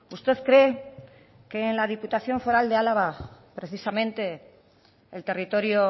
usted cree que en la diputación foral de álava precisamente el territorio